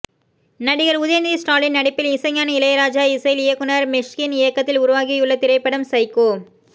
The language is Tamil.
நடிகர் உதயநிதி ஸ்டாலின் நடிப்பில் இசைஞானி இளையராஜா இசையில் இயக்குநர் மிஷ்கின் இயக்கத்தில் உருவாகியுள்ள திரைப்படம் சைக்கோ